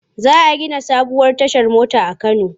Za a gina sabuwar tashar mota a Kano.